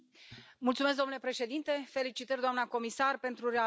Domnule Președinte, felicitări, doamna comisar, pentru realegere.